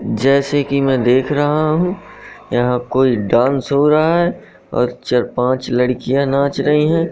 जैसे कि मैं देख रहा हूं। यहां कोई डांस हो रहा है और चार पांच लड़कियां नाच रही है।